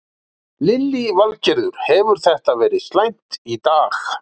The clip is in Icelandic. Lillý Valgerður: Hefur þetta verið slæmt í dag?